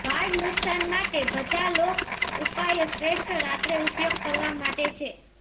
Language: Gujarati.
વાળ નુકશાન માટે બધા લોક ઉપાયો શ્રેષ્ઠ રાત્રે ઉપયોગ કરવા માટે છે